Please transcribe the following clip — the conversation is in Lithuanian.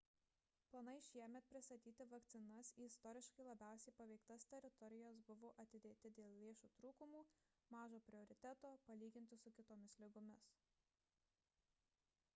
planai šiemet pristatyti vakcinas į istoriškai labiausiai paveiktas teritorijas buvo atidėti dėl lėšų trūkumo ir mažo prioriteto palyginti su kitomis ligomis